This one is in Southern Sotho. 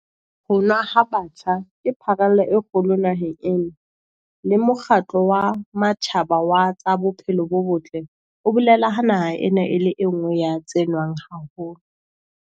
Ho nwa ha batjha ke pharela e kgolo naheng ena, le Mokgatlo wa Matjhaba wa tsa Bophelo bo Botle o bolela ha naha ena e le e nngwe ya tse nwang haholo.